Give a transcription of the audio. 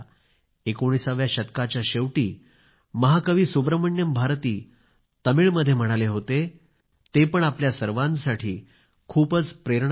एकोणिसाव्या शतकाच्या शेवटी महाकवी सुब्रमण्यम भारती तमिळमध्ये म्हणाले होते ते पण आपल्या सर्वांसाठी खूप प्रेरणादायक आहे